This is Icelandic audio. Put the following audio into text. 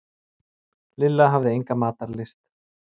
Lilla hafði enga matarlyst.